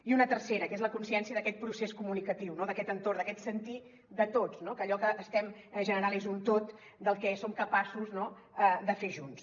i un tercer que és la consciència d’aquest procés comunicatiu no d’aquest entorn d’aquest sentir de tots no que allò que estem generant és un tot del que som capaços de fer junts